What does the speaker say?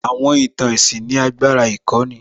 Àwọn ìtàn ẹ̀sìn ní agbára ìkọ́ni